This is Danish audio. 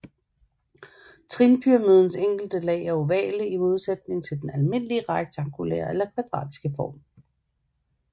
Trinpyramidens enkelte lag er ovale i modsætning til den almindelige rektangulære eller kvadratiske form